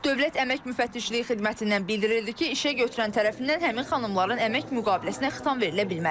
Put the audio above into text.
Dövlət Əmək Müfəttişliyi Xidmətindən bildirildi ki, işə götürən tərəfindən həmin xanımların əmək müqaviləsinə xitam verilə bilməz.